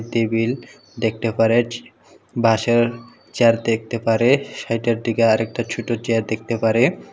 Table দেখতে পারাচ্ছে বাঁশের চেয়ার দেখতে পারে সেইটার দিকে আরেকটা ছোট চেয়ার দেখতে পারে।